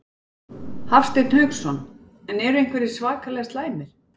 Hafsteinn Hauksson: En eru einhverjir svakalega slæmir?